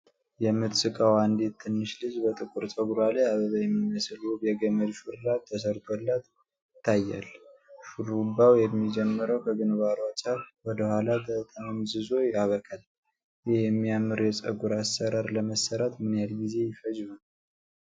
የምትስቀው አንዲት ትንሽ ልጅ በጥቁር ጸጉሯ ላይ አበባ የሚመስል ውብ የገመድ ሹርባ ተሠርቶላት ይታያል፤ ሹሩባው የሚጀምረው ከግንባሯ ጫፍ፣ ወደ ኋላ ተጠምዝዞ ያበቃል፤ ይህ የሚያምር የጸጉር አሰራር ለመሥራት ምን ያህል ጊዜ ሊፈጅ ይችላል?